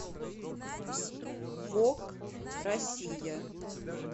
вог россия